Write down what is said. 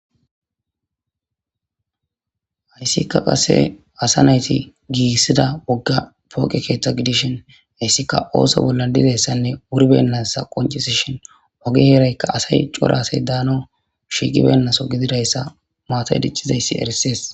Hayssika qase asa nayti giigissida wogga pooqe keeththa gidishin hayssika ooso bolla dizayssanne wuribennasa qoncisishin oge heraykka asay cora asay daano shiiqibennaso gididayssa maata diccizayssi erisees.